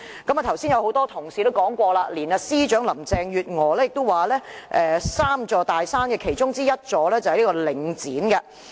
剛才也有多位同事表示，連政務司司長林鄭月娥也形容領展是 "3 座大山"的其中之一。